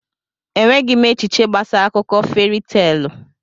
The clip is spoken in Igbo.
Enweghị m echiche gbasara akụkọ feri teelụ.